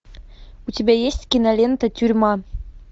у тебя есть кинолента тюрьма